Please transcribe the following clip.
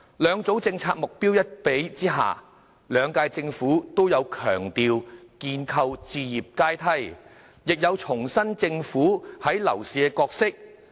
兩組政策目標比較之下，兩屆政府都有強調建構置業階梯，亦有重申政府在樓市的角色。